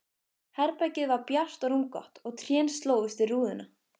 Herbergið var bjart og rúmgott og trén slógust við rúðuna.